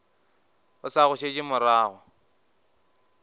o sa go šetše morago